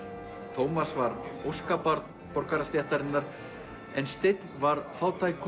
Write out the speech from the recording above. Tómas var óskabarn borgarastéttarinnar en Steinn var fátækur